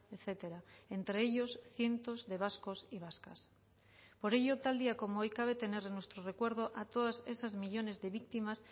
etcétera entre ellos cientos de vascos y vascas por ello tal día como hoy cabe tener en nuestro recuerdo a todas esos millónes de víctimas